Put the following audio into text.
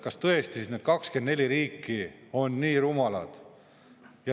Kas tõesti siis need 24 riiki on nii rumalad?